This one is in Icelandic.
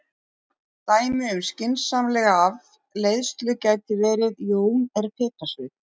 Dæmi um skynsamlega afleiðslu gæti verið: Jón er piparsveinn.